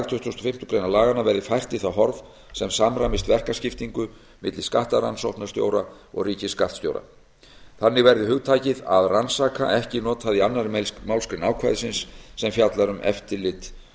fimmtu grein laganna verði fært í það horf sem samræmist verkaskiptingu milli skattrannsóknarstjóra og ríkisskattstjóra þannig verði hugtakið að rannsaka ekki notað í annarri málsgrein ákvæðisins sem fjallar um eftirlit